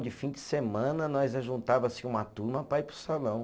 De fim de semana, nós ajuntava assim uma turma para ir para o salão.